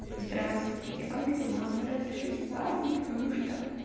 здравствуйте как дела мы разошлись с парнем потому что